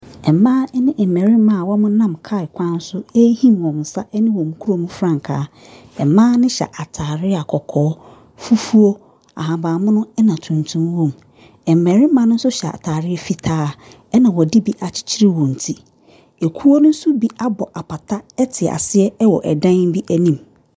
Mmaa ne mmarima a wɔnam kaa kwan so ɛrehim wɔn nsa ne wɔn krom frankaa, mmaa no hyɛ ataade a kɔkɔɔ, fufuo, ahabanmono, na tuntum wɔm, mmarima no nso hyɛ ataare fitaa na wɔde bi akyekyere wɔn ti, kuo ne nso bi abɔ apata te aseɛ wɔ dan bi anim.